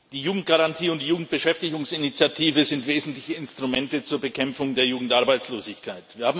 Die Jugendgarantie und die Jugendbeschäftigungsinitiative sind wesentliche Instrumente zur Bekämpfung der Jugendarbeitslosigkeit.